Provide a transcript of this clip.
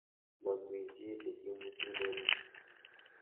Momii chi nikiimutun oli?